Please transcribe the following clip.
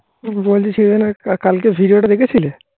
বলছিস শোনোনা কালকে video টা দেখেছিলে